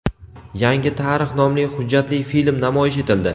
Yangi tarix nomli hujjatli film namoyish etildi.